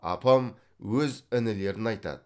апам өз інілерін айтады